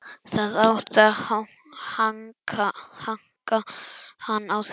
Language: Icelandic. Það átti að hanka hann á þessu.